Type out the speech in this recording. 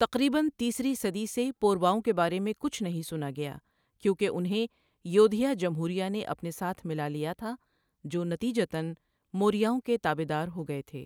تقریباً تیسری صدی سے پورواوؤں کے بارے میں کچھ نہیں سنا گیا کیونکہ انھیں یودھیا جمہوریہ نے اپنے ساتھ ملالیا تھا جو نتیجتاً موریاؤں کے تابعدار ہوگئے تھے۔